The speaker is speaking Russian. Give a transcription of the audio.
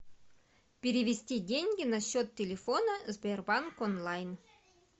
перевести деньги на счет телефона сбербанк онлайн